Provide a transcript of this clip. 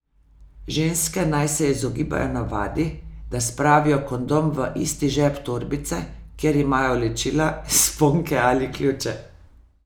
Ženske naj se izogibajo navadi, da spravijo kondom v isti žep torbice, kjer imajo ličila, sponke ali ključe.